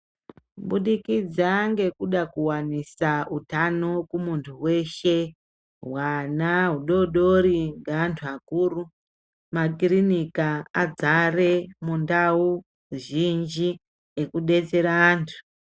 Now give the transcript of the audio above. Kubudikidza ngekuda kuwanisa utano kumuntu weshe, hwana hudodori ngeanthu akuru, makirinika adzare mundau zhinji ekudetsera antu.